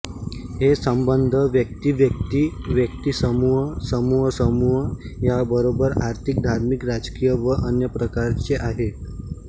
हे संबंध व्यक्तीव्यक्ती व्यक्तीसमूह समूहसमूह या बरोबर आर्थिक धार्मिक राजकीय व अन्य प्रकारचे आहेत